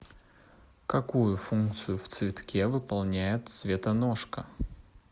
какую функцию в цветке выполняет цветоножка